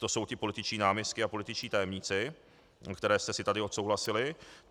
To jsou ti političtí náměstci a političtí tajemníci, které jste si tady odsouhlasili.